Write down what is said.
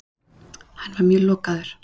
Hann var mjög lokaður.